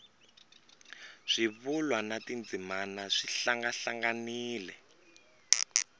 swivulwa na tindzimana swi hlangahlanganile